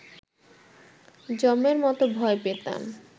যমের মতো ভয় পেতাম